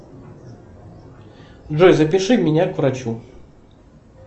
джой запиши меня к врачу